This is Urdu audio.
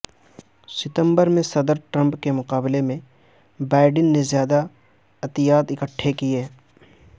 ستمبر میں صدر ٹرمپ کے مقابلے میں بائیڈن نے زیادہ عطیات اکھٹے کیے